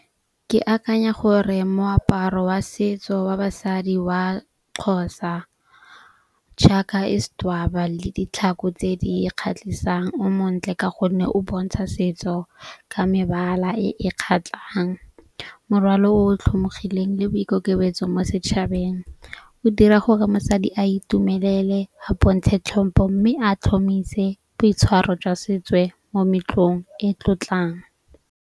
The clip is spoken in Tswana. Ke akanya gore moaparo wa setso wa basadi wa Xhosa. Jaaka le ditlhako tse di kgatlhisang o montle ka gonne o bontsha setso ka mebala e e kgatlhang. Morwalo o tlhomogileng le boikokobetso mo setšhabeng o dira go re mosadi a itumelele a bontshe tlhompo. Mme a tlhomise boitshwaro jwa setswe mo meletlong e tlotlang.